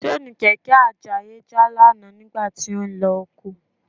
Ṣéènì kẹ̀kẹ́ Àjàyí já lánàá nígbà tí ó ń lọ oko